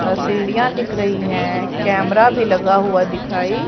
अ सीढ़ियां दिख रही है कैमरा भी लगा हुआ दिखाई--